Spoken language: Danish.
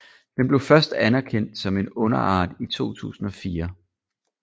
Den blev først anerkendt som en underart i 2004